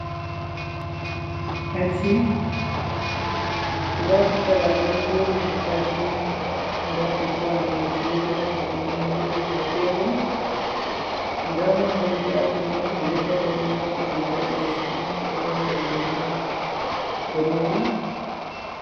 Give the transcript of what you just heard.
Aji, nda pukaraaɓe ɗo jooɗi ha aji mai, nda tutawal najeria ka yum ma ɗo jooɗi dou tebul, nda mallumjo aji mai oɗo dari oɗo waati riga ɓalejum, oɗo waati gele boɗejum.